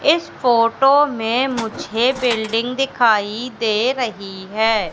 इस फोटो मे मुझे बिल्डिंग दिखाई दे रही है।